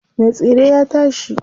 Me tsire ya tashi.